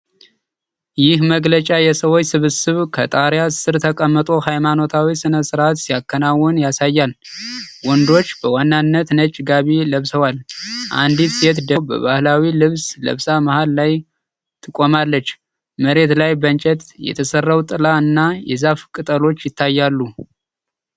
ይህ መግለጫ የሰዎች ስብስብ ከጣሪያ ሥር ተቀምጦ ሃይማኖታዊ ሥነ ሥርዓት ሲያከናውን ያሳያል። ወንዶች በዋናነት ነጭ ጋቢ ለብሰዋል፤ አንዲት ሴት ደግሞ ባህላዊ ልብስ ለብሳ መሀል ላይ ትቆማለች። መሬት ላይ በእንጨት የተሠራው ጥላ እና የዛፍ ቅጠሎች ይታያሉ።